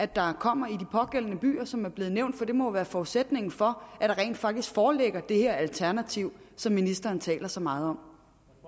der kommer i de pågældende byer som er blevet nævnt for det må jo være forudsætningen for at der rent faktisk foreligger det her alternativ som ministeren taler så meget om